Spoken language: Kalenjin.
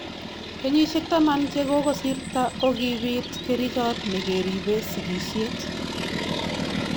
Kenyisyek taman che kokosirto kokibiit kerichot negeribee sigisyet